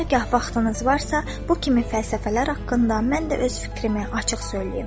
Hərgah vaxtınız varsa, bu kimi fəlsəfələr haqqında mən də öz fikrimi açıq söyləyim.